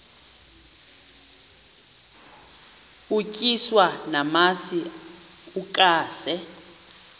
utyiswa namasi ukaze